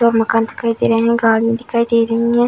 पूरा मकान दिखाई दे रहें हैं। गाड़ी दिखाई दे रही है।